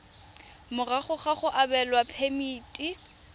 morago ga go abelwa phemiti